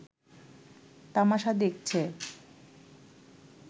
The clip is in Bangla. তামাশা দেখছে